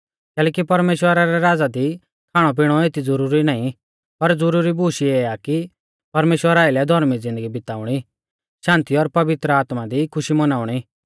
कैलैकि परमेश्‍वरा रै राज़ा दी खाणौ पिणौ एती ज़ुरुरी नाईं पर ज़ुरुरी बूश इऐ आ कि परमेश्‍वरा आइलै धौर्मी ज़िन्दगी बिताउणी शान्ति और पवित्र आत्मा दी खुशी मौनाउणी